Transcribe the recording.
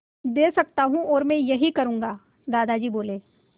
दे सकता हूँ और मैं यही करूँगा दादाजी बोले